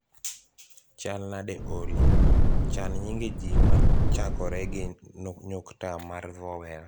chalnade Olly, chan nyinge ji ma chakore gi nyukta mar vowel